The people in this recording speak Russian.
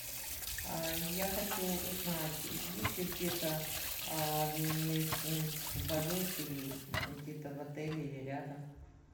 я хочу узнать есть ли где то обменный пункт валюты где то в отеле или рядом